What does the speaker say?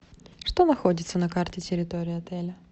что находится на карте территории отеля